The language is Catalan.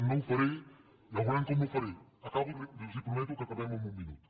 no ho faré ja veurem com m’ho faré acabo els prometo que acabem en un minut